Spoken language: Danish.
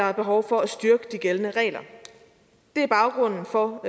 er behov for at styrke de gældende regler det er baggrunden for